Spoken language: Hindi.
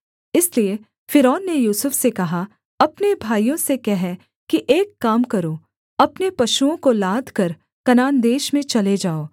इसलिए फ़िरौन ने यूसुफ से कहा अपने भाइयों से कह कि एक काम करो अपने पशुओं को लादकर कनान देश में चले जाओ